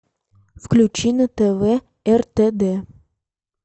включи на тв ртд